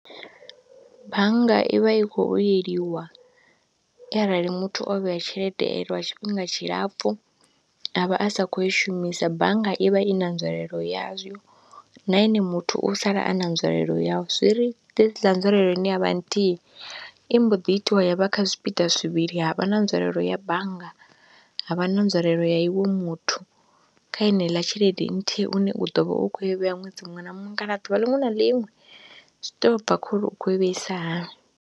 Bannga i vha i khou vhuyeliwa arali muthu o vhea tshelede lwa tshifhinga tshilapfhu a vha a sa khou i shumisa, bannga i vha i na nzwalelo yazwo na ene muthu u sala a na nzwalelo yau, zwi ri ḓisela nzwalelo ine ya vha nthihi i mbo ḓi itiwa ya vha kha zwipiḓa zwivhili ha vha na nzwalelo ya bannga, ha vha na nzwalelo ya iwe muthu kha heneiḽa tshelede nthihi une u ḓo vha u khou i vhea ṅwedzi muṅwe na muṅwe kana ḓuvha ḽinwe na ḽinwe zwi tou bva khou ri u khou i vheisa hani.